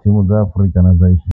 thimu dza Afurika na Asia.